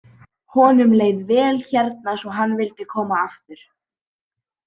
Honum leið vel hérna svo hann vildi koma aftur.